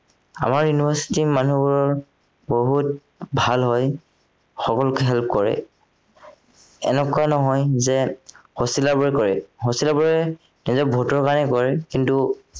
আমাৰ university ৰ মানুহবোৰ বহুত ভাল হয় সকলোকে help কৰে এনেকুৱা নহয় যে hosteller বোৰে কৰে hosteller বোৰে as a ভোটৰ কাৰণে কৰে কিন্তু